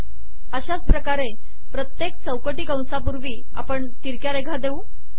अशाच प्रकारे प्रत्येक चौकटी कंसापूर्वी आपण तिरक्या रेघा देऊ